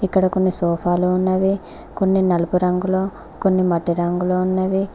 ఇక్కడ కొన్ని సోఫాలు ఉన్నవి కొన్ని నలుపు రంగులో కొన్ని మట్టి రంగులో ఉన్నవి.